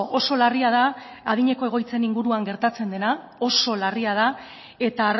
oso larria da adineko egoitzen inguruan gertatzen dena oso larria da eta